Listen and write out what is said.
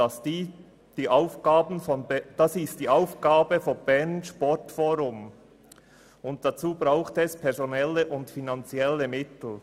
Das ist die Aufgabe des Berner Sportforums, und dazu braucht es personelle und finanzielle Mittel.